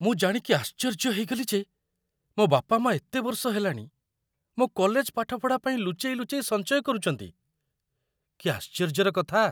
ମୁଁ ଜାଣିକି ଆଶ୍ଚର୍ଯ୍ୟ ହେଇଗଲି ଯେ ମୋ ବାପାମାଆ ଏତେ ବର୍ଷ ହେଲାଣି ମୋ କଲେଜ ପାଠପଢ଼ା ପାଇଁ ଲୁଚେଇ ଲୁଚେଇ ସଞ୍ଚୟ କରୁଚନ୍ତି । କି ଆଶ୍ଚର୍ଯ୍ୟର କଥା!